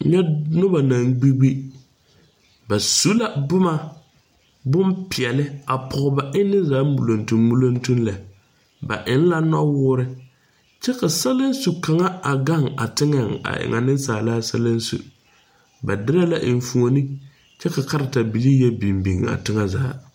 Nyɛ nobɔ baŋ gbi gbi ba su la bomma bonpeɛɛle a pɔg ba enne za muloŋtumm muloŋtumm lɛ ba eŋ la nɔwoore kyɛ ka saleŋso kaŋa a gaŋ a teŋɛŋ a e ŋa beŋsaalaa saleŋso ba dirɛ la enfuone kyɛ ka kareta bilii yɛ biŋ a teŋɛ zaa.